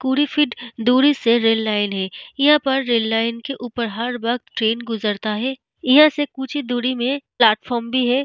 कुड़ी फिट दुरी से रेल लाइन है यहाँ पर रेल लाइन के ऊपर हर वक़्त ट्रैन गुजरता है यहाँ से कुछ दुरी में प्लॅटफॉम भी है।